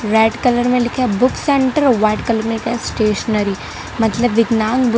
red colour में लिखा है बुक सेंटर व्हाइट कलर में लिखा स्टेशनरी मतलब विगनान बुक --